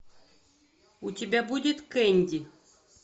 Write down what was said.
у тебя будет кэнди